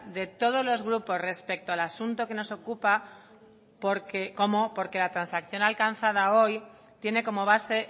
de todos los grupos respecto al asunto que nos ocupa porque como porque la transacción alcanzada hoy tiene como base